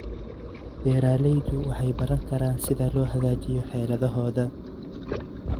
Beeraleydu waxay baran karaan sida loo hagaajiyo xeeladahooda.